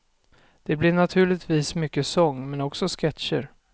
Det blir naturligtvis mycket sång, men också sketcher.